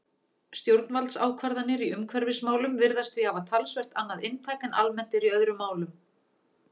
Stjórnvaldsákvarðanir í umhverfismálum virðast því hafa talsvert annað inntak en almennt er í öðrum málum.